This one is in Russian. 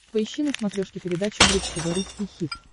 поищи на смотрешке передачу бридж тв русский хит